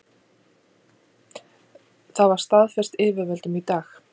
Það var staðfest yfirvöldum í dag